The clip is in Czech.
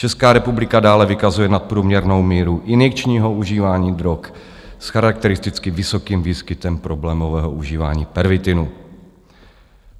Česká republika dále vykazuje nadprůměrnou míru injekčního užívání drog s charakteristicky vysokým výskytem problémového užívání pervitinu.